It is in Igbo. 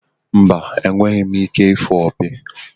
Mba, enweghị m ike ịfụ opi.